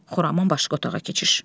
Xuraman başqa otağa keçir.